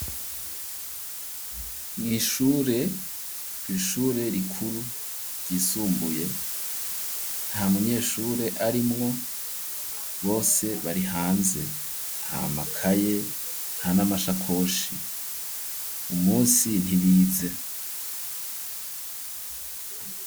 Mw'ishure ishure rikuru ryisumbuye nta munyeshure arimwo bose bari hanze nta makaye nta n'amashakoshi umusi ntibize